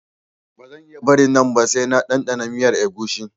Ba zan iya barin nan ba sai na ɗanɗana miyar agushi